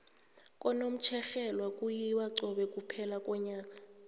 kunomtjherhelwe kuyiwa cobe kuphela konyaka